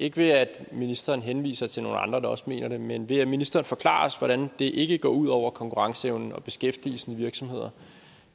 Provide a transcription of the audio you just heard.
ikke ved at ministeren henviser til nogle andre der også mener det men ved at ministeren forklarer os hvordan det ikke går ud over konkurrenceevnen og beskæftigelsen i virksomheder